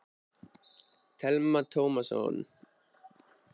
Telma Tómasson: Hvernig fór þetta fram hérna, var fólk friðsamlegt?